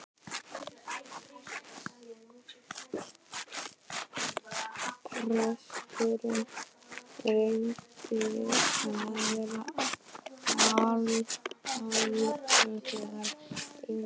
Presturinn reyndi að vera alúðlegur og einlægur.